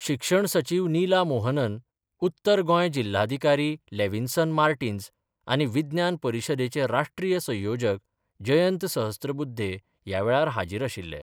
शिक्षण सचिव निला मोहनन, उत्तर गोंय जिल्हाधिकारी लॅविन्सन मार्टिन्स आनी विज्ञान परिशदेचे राष्ट्रीय संयोजक जयंत सहस्त्रबुध्दे ह्या वेळार हाजीर आशिल्ले.